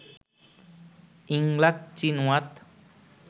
Yingluck Shinawatra